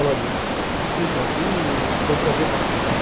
Então, que foi um prazer participar.